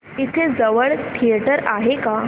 इथे जवळ थिएटर आहे का